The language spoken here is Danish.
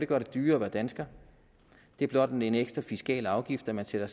gøre det dyrere at være dansker det er blot en ekstra fiskal afgift når man sætter